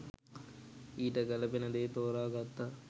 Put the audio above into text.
ඊට ගැලපෙන දේ තෝරා ගත්තා